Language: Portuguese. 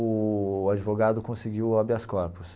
O advogado conseguiu habeas corpos.